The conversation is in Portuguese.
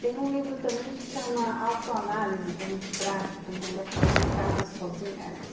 Tem um livro também que chama Autoanálise, que é muito prático, então dá para fazer em casa sozinha.